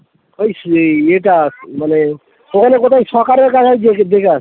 ওই সেই ইয়েটা মানে ওখানে কোথায়